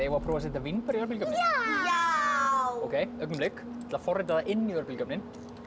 að prófa að setja vínber í örbylgjuofninn já augnablik ég ætla að forrita það inn í örbylgjuofninn